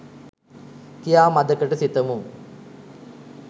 කියා මදකට සිතමු